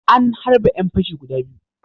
An harbe ƴan fashi guda biyu.